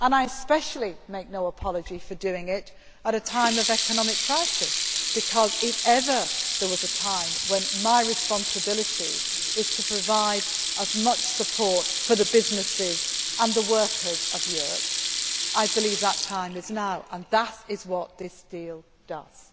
I especially make no apology for doing it at a time of economic crisis because, if ever there was a time when my responsibility was to provide as much support for the businesses and the workers of Europe, I believe that time is now, and that is what this deal does.